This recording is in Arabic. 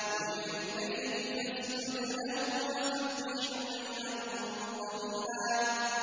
وَمِنَ اللَّيْلِ فَاسْجُدْ لَهُ وَسَبِّحْهُ لَيْلًا طَوِيلًا